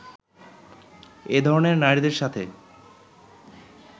এ ধরনের নারীদের সাথে